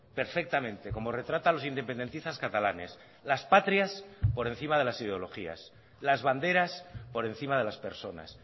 perfectamente como retrata a los independentistas catalanes las patrias por encima de las ideologías las banderas por encima de las personas